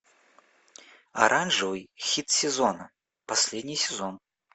оранжевый хит сезона последний сезон